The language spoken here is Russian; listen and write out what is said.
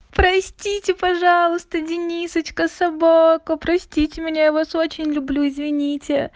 простите пожалуйста денисочка собака простите меня я вас очень люблю извините